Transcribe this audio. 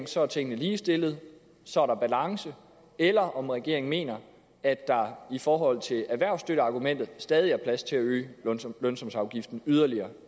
så er tingene ligestillet så er der balance eller om regeringen mener at der i forhold til erhvervsstøtteargumentet stadig er plads til at øge lønsumsafgiften yderligere